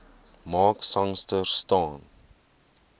mark sangster staan